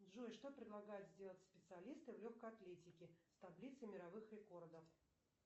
джой что предлагают сделать специалисты в легкой атлетике с таблицей мировых рекордов